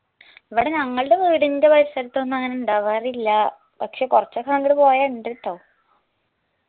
ഇവിടെ ഞങ്ങൾടെ വീടിന്റെ പരിസരത്തൊന്നും അങ്ങനെ ഇണ്ടാവാറില്ലാ പക്ഷെ കൊറച്ചൊക്കെ അങ്ങട് പോയാ ഇണ്ട് ട്ടൊ